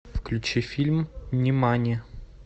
включи фильм нимани